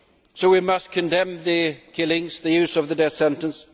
So we must condemn the killings, the use of the death sentence.